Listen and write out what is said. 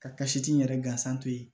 Kasiti yɛrɛ gansan to yen